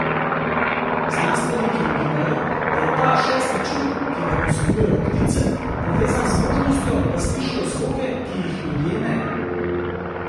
Znanstveniki ugibajo, da je ta šesti čut, ki ga posedujejo ptice, povezan z zmožnostjo, da slišijo zvoke, ki jih ljudje ne.